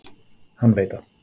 Hann veit það.